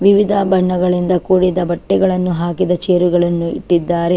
ವಿವಿಧ ಬಣ್ಣಗಳಿಂದ ಕೂಡಿದ ಬಟ್ಟೆಗಳನ್ನು ಹಾಕಿರುವ ಚೇರ್ ಗಳನ್ನು ಇಟ್ಟಿದ್ದಾರೆ.